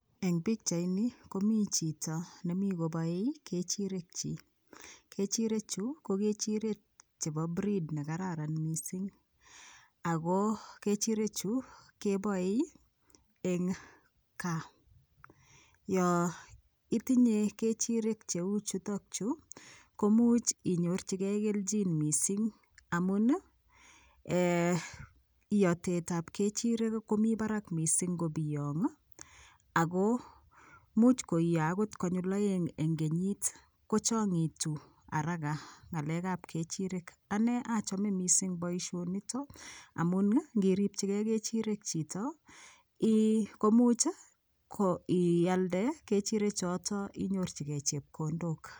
Eng pikchait I komi chito nemii koboe kechirek chii kechirechu ko kechirek chebo breed nekararan mising ok kechirek chu keboen eng kaa yo itinye kechirek cheu chutokchu komuch inyorchigei keljin mising amun iyotet ab kechirek komi Barak mising ngobiyong Ako much koiyo agot konyul oeng eng kenyit kochongitu haraka kechirek ane achome mising boishonito amun ngiribchigei kechirek chito komuch ialde kechirek choto inyorchigei chepkondok